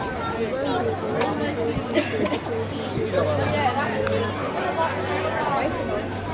Di banks dey collect different fees for different things wey customers no know about